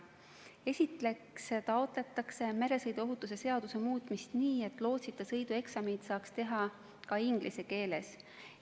Esiteks taotletakse meresõiduohutuse seaduse muutmist nii, et lootsita sõidu eksamit saaks teha ka inglise keeles.